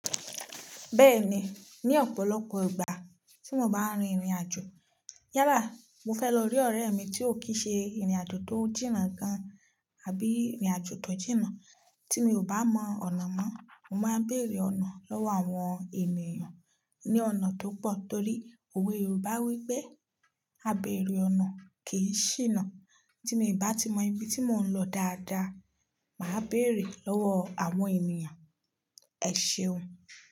Bẹ́ẹ̀ni, ní ọ̀pọ̀lọpọ̀ ìgbà tí mo bá rin ìrìnàjò. Yálà, mo fẹ́ lọ rí ọ̀rẹ́ mi tí ó kí ṣe ìrìnàjò tó jìnnà gan-an àbí ìrìnàjò tó jìnnà tí mi ò bá mọ ọ̀nà mọ́, mo máa ń bèrè ọ̀nà lọ́wọ́ àwọn ènìyàn ní ọ̀nà tó pọ̀ torí òwe Yorùbá wípé, "Àbéèrè ọ̀nà kì í ṣìnà." Tí mo bá ti mọ ibi tí mò ń lọ dáadáa, màá bèrè lọ́wọ́ àwọn ènìyàn. Ẹ ṣeun.